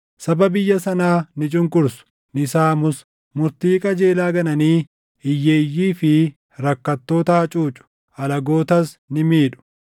Sabni biyya sanaa ni cunqursu; ni saamus; murtii qajeelaa gananii hiyyeeyyii fi rakkattoota hacuucu; alagootas ni miidhu.